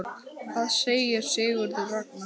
Hvað segir Sigurður Ragnar?